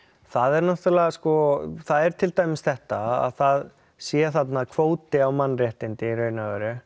það er náttúrulega sko það er til dæmis þetta að það sé þarna kvóti á mannréttindi í rauninni